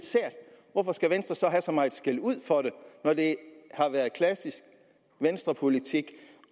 skal have så meget skældud for det når det har været klassisk venstrepolitik